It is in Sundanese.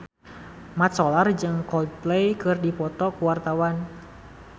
Mat Solar jeung Coldplay keur dipoto ku wartawan